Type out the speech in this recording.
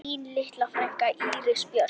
Þín litla frænka, Íris Björk.